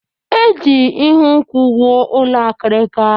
E ji ihu nkwụ wụọ ụlọ akirika.